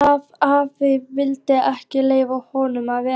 Og hvað ef afi vildi ekki leyfa honum að vera?